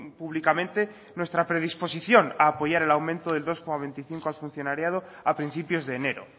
públicamente nuestra predisposición a apoyar el aumento del dos coma veinticinco al funcionariado a principios de enero